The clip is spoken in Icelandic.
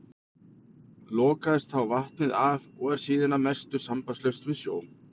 Lokaðist þá vatnið af og er síðan að mestu sambandslaust við sjó.